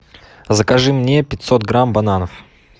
закажи мне пятьсот грамм бананов